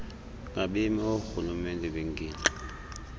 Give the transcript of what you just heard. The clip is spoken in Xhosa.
ngabemi oorhulumente bengingqi